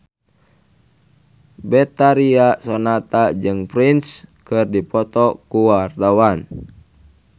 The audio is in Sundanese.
Betharia Sonata jeung Prince keur dipoto ku wartawan